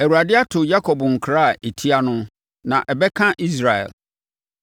Awurade ato Yakob nkra a ɛtia no, na ɛbɛka Israel.